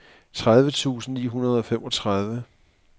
tredive tusind ni hundrede og femogtredive